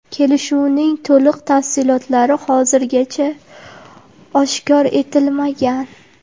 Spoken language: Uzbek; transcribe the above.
Kelishuvning to‘liq tafsilotlari hozircha oshkor etilmagan.